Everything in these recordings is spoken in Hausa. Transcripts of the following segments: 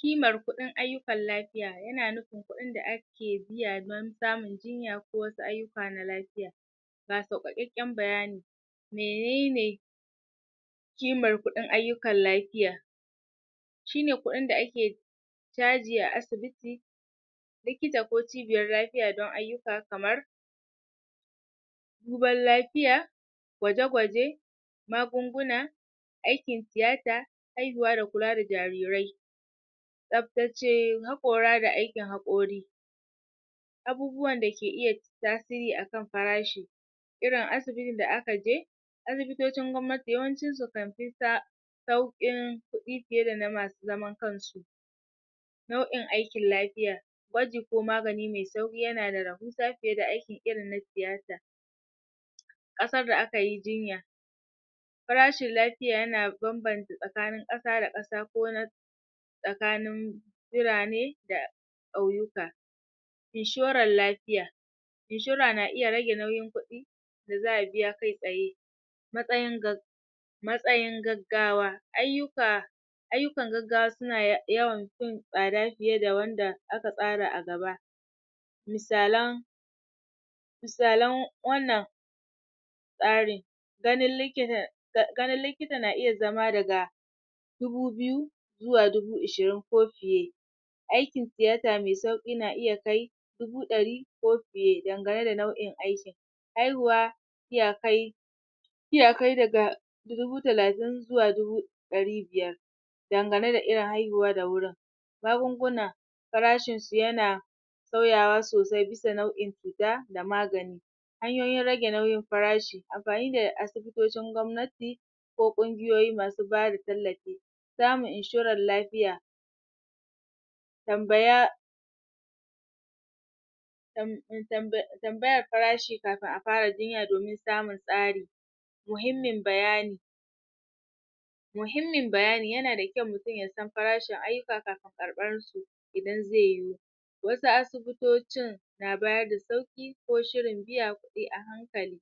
kimar kuɗin ayyyukan lafiya yana nufin kuɗin da ake biya don samun jinya ko wasu ayyuka na lafiya ga sauƙaƙeƙƙen bayani menene kimar kuɗin ayyukan lafiya shine kuɗin da ake caji a asibiti likita ko cibiyar lafiya don ayyuka kamar duban lafiya gwaje-gwaje magunguna aikin tiyata haihuwa da kula da jarirai tsabtace haƙora da aikin haƙori abubuwan da ke iya tasiri akan farashi irin asibitin da aka je asibitocin gwamnati yawancin su kan fi sauƙin kuɗi fiye da na masu zaman kan su nau'in aikin lafiya gwaji ko magani me sauƙi yana da rahusa fiye da aiki irin na tiyata ƙasar da aka yi jinya farashin lafiya yana banbanta tsakanin ƙasa da ƙasa ko na tsakanin birane da ƙauyuka inshoran lafiya inshora na iya rage nauyin kuɗi da za'a biya kai tsaye matsayin matsayin gaggawa ayyuka ayyukan gaggawa suna yawan fin fiye da wanda aka tsara a gaba misalan misalan wannan tsari ganin likita ganin likita na iya zama daga dubu biyu zuwa dubu ishirin ko fiye aikin tiyata me sauƙi na iya kai dubu ɗari ko fiye, dangane da nau'in aikin haihuwa iya kai iya kai daga daga dubu talatin zuwa dubu ɗari biyar dangane da irin haihuwa da wurin magunguna farashin su yana sauyawa sosai bisa nau'in cuta da magani hanyoyin rage nauyin farashi amfani da asibitocin gwamnati ko ƙungiyoyi masu bada tallafi samun inshoran lafiya tambaya um tambaya farashi kafin a fara jinya domin samun tsari muhimmin bayani muhimmin bayani yana da kyau mutum ya san farashin ayyuka kafin karɓar su idan ze yu wasu asibitocin na bayar da sauƙi ko shirin biya kuɗi a hankali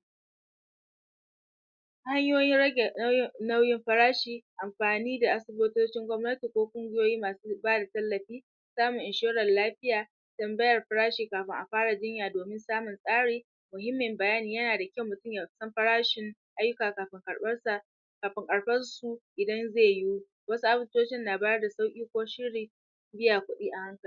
hanyoyin rage um nauyin farashi amfani da asibitocin gwamnati ko ƙungiyoyi masu bada tallafi samun inshoran lafiya tambayar farashi kafin a fara jinya domin samun tsari muhimmin bayani yana da kyau mutum ya san farashin ayyuka kafin karɓar sa kafin karɓar su idan ze yu wasu asibitocin na bada sauƙi ko shiri biya kuɗi a hankali